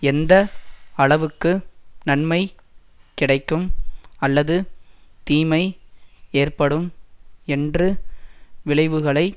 எந்த அளவுக்கு நன்மை கிடைக்கும் அல்லது தீமை ஏற்படும் என்று விளைவுகளை